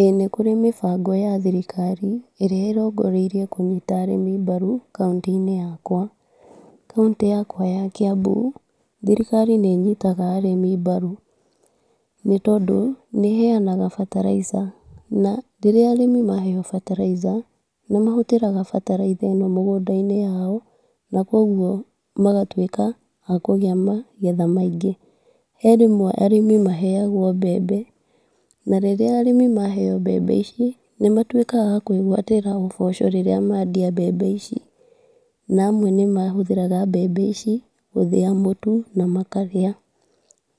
ĩĩ nĩ kũrĩ mĩbango ya thirikari, ĩrĩa ĩrongoreire kũnyita andũ mbaru kauntĩ-inĩ yakwa, kauntĩ yakwa ya kiambu, thirikari nĩ ĩnyitaga andũ mbaru, nĩ tondũ nĩ iheanaga bataraica, na rĩrĩa arĩmi maheo bataraica, nĩmahũthagĩra bataraitha ĩno thĩiniĩ wa mĩgũnda yao na kũgwo magatwĩka akũgĩa na magetha maingĩ, he rĩmwe arĩmi maheagwo mbembe, na rĩrĩa arĩmi maheo mbembe ici, nĩmatwĩkaga akwĩgwatĩra ũboco rĩrĩa mendia mbembe ici, na amwe nĩmahũthagĩra mbembe ici gũthĩa mũtu na makarĩa,